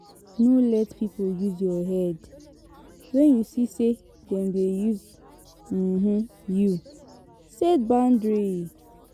No let pipo use your head, when you see sey dem dey use um you, set boundary